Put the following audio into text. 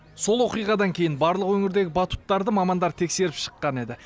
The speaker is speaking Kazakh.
сол оқиғадан кейін барлық өңірдегі батуттарды мамандар тексеріп шыққан еді